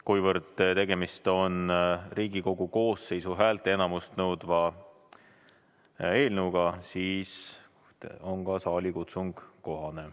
Kuna tegemist on Riigikogu koosseisu häälteenamust nõudva eelnõuga, siis on ka saalikutsung kohane.